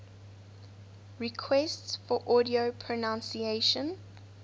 requests for audio pronunciation